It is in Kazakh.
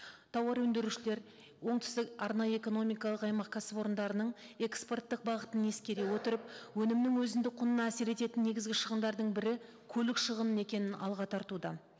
тауар өндірушілер оңтүстік арнайы экономикалық аймақ кәсіпорындарының экспорттық бағытын ескере отырып өнімнің өзіндік құнына әсер ететін негізгі шығымдардың бірі көлік шығыны екенін алға тартуда